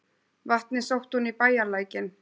Vatnið sótti hún í bæjarlækinn.